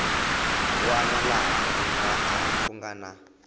wana laha ku nga na